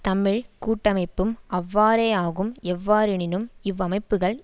தமிழ் கூட்டமைப்பும் அவ்வாறேயாகும் எவ்வாறெனினும் இவ் அமைப்புக்கள்